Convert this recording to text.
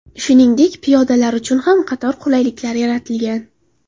Shuningdek, piyodalar uchun ham qator qulayliklar yaratilgan.